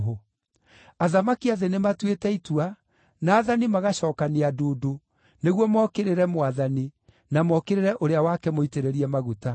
Athamaki a thĩ nĩmatuĩte itua, na aathani magacookania ndundu, nĩguo mokĩrĩre Mwathani, na mokĩrĩre Ũrĩa wake Mũitĩrĩrie Maguta.’